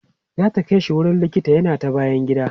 zata Kai shi wurin likita yana ta bayan gida